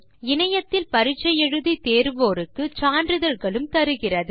இணையத்தில் பரிட்சை எழுதி தேர்வோருக்கு சான்றிதழ்களும் தருகிறது